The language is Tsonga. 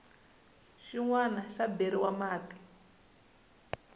xin wana xi beriwa mati